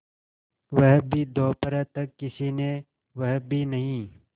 वह भी दोपहर तक किसी ने वह भी नहीं